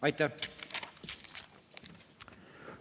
Aitäh!